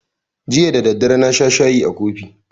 Jiya da daddare na sha shayi a kofi